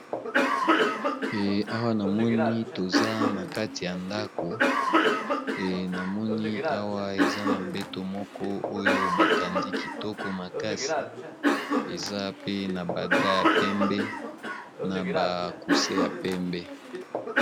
Mpe awa namoni toza na kati ya ndako, e namoni awa eza na mbeto moko oyo batandi kitoko makasi eza pe na badra ya pembe na ba kuse ya pembe.